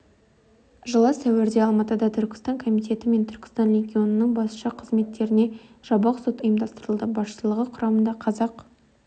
жылы сәуірде алматыда түркістан комитеті мен түркістан легионының басшы қызметкерлеріне жабық сот ұйымдастырылды басшылығы құрамында қазақ